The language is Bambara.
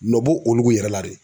Nɔ bo olu yɛrɛ la dɛ.